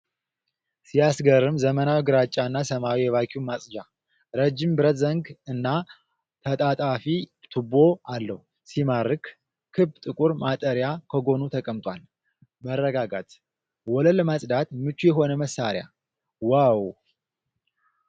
ሲያስገርም! ዘመናዊ ግራጫና ሰማያዊ የቫክዩም ማጽጃ። ረጅም ብረት ዘንግ እና ተጣጣፊ ቱቦ አለው። ሲማርክ! ክብ ጥቁር ማጣሪያ ከጎኑ ተቀምጧል። መረጋጋት። ወለል ለማጽዳት ምቹ የሆነ መሳሪያ። ዋው!